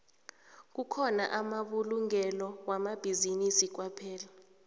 kukhona amabulungelo wamabhizinisi kwaphela